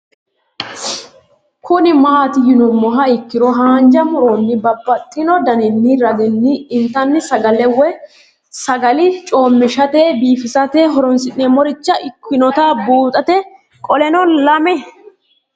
Kuni mati yinumoha ikiro hanja muroni babaxino daninina ragini intani sagale woyi sagali comishatenna bifisate horonsine'morich ikinota bunxana qoleno lame